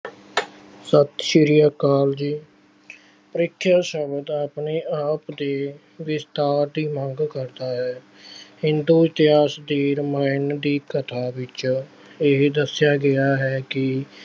ਸਤਿ ਸ਼੍ਰੀ ਅਕਾਲ ਜੀ, ਪ੍ਰੀਖਿਆ ਸ਼ਬਦ ਆਪਣੇ ਆਪ ਦੀ ਵਿਸਤਾਰ ਦੀ ਮੰਗ ਕਰਦਾ ਹੈ। ਹਿੰਦੂ ਇਤਿਹਾਸ ਦੀ ਰਮਾਇਣ ਦੀ ਕਥਾ ਵਿੱਚ ਇਹ ਦੱਸਿਆ ਗਿਆ ਹੈ ਕਿ